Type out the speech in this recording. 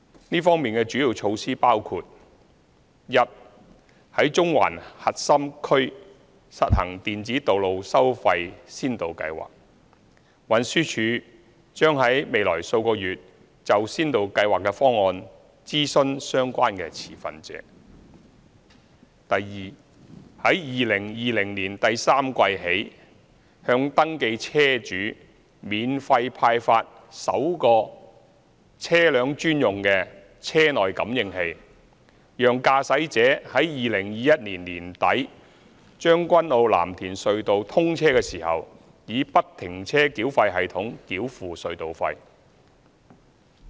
這方面的主要措施包括：第一，在中環核心區實行電子道路收費先導計劃，運輸署將於未來數月就先導計劃的方案諮詢相關持份者；第二，在2020年第三季起向登記車主免費派發首個車輛專用的車內感應器，讓駕駛者在2021年年底將軍澳―藍田隧道通車時以不停車繳費系統繳付隧道費。